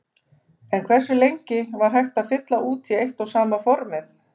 En hversu lengi var hægt að fylla út í eitt og sama formið?